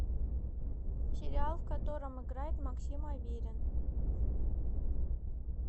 сериал в котором играет максим аверин